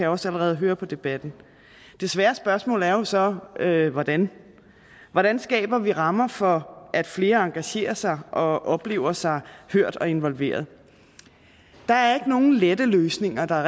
også allerede høre på debatten det svære spørgsmål er jo så hvordan hvordan hvordan skaber vi rammer for at flere engagerer sig og oplever sig hørt og involveret der er ikke nogen lette løsninger der er